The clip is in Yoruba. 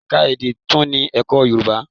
Ẹ̀ka èdè tún ní ẹ̀kọ́ Yorùbá.